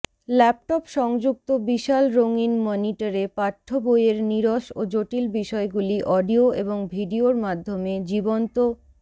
laptop সংযুক্ত বিশাল রঙিন মনিটরে পাঠ্যবইয়ের নীরস ও জটিল বিষয়গুলি অডিয়ো এবং ভিডিয়োর মাধ্যমে জীবন্ত